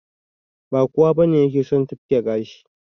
Ba kowa bane yake son tufke gashi